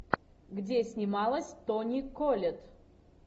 где снималась тони коллетт